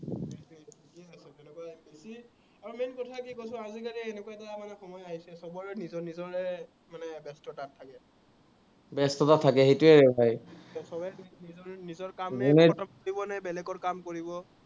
ব্যস্ততা থাকে, সেইটোৱে হয়।